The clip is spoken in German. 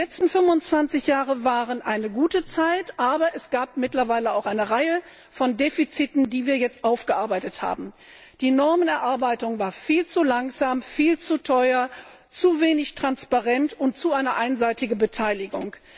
Die letzten 25 Jahre waren eine gute Zeit, aber es gab auch eine Reihe von Defiziten, die wir jetzt aufgearbeitet haben. Die Ausarbeitung der Normen war viel zu langsam, viel zu teuer, zu wenig transparent und hatte eine zu einseitige Beteiligung.